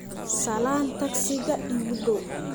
salaan tagsiga iigu dhow